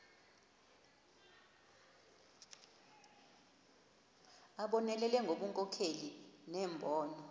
abonelele ngobunkokheli nembono